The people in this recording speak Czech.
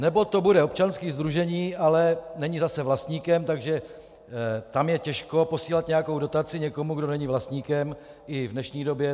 Nebo to bude občanské sdružení, ale není zase vlastníkem, takže tam je těžko posílat nějakou dotaci někomu, kdo není vlastníkem, i v dnešní době.